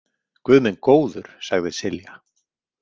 Guð minn góður, sagði Silja.